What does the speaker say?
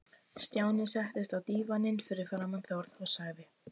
Stjáni settist á dívaninn fyrir framan Þórð og sagði